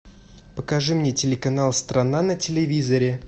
покажи мне телеканал страна на телевизоре